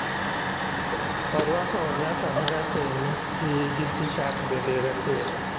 Orualo onyasa mara teng' tii gi tishat bende rateng.